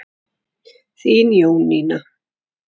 Þín Jónína.